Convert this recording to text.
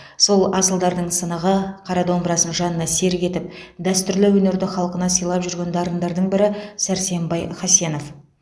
сол асылдардың сынығы қара домбырасын жанына серік етіп дәстүрлі өнерді халқына сыйлап жүрген дарындардың бірі сәрсенбай хасенов